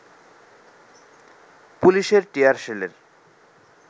পুলিশের টিয়ার সেলের